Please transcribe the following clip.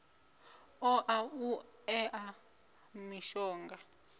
ṱo ḓa u ṋea mishonga